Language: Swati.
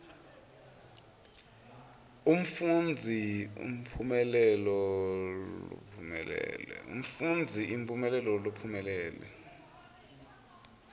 umfundzi imphumelelo lophumelele